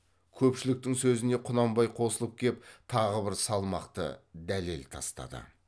көпшіліктің сөзіне құнанбай қосылып кеп тағы бір салмақты дәлел тастады